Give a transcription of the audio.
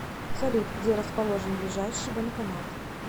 салют где расположен ближайший банкомат